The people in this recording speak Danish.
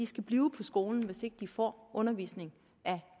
skal blive på skolen hvis ikke de får undervisning af